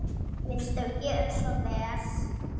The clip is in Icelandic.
Viltu gera svo vel.